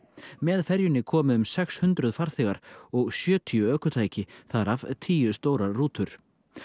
með ferjunni komu um sex hundruð farþegar og sjötíu ökutæki þar af tíu stórar rútur